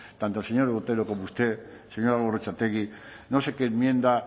tanto el señor otero como usted señora gorrotxategi no sé qué enmienda